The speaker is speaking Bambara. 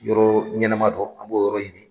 Yɔrɔ ɲɛnɛma dɔ, an b'o yɔrɔ ɲini.